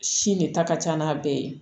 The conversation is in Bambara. Si ne ta ka ca n'a bɛɛ ye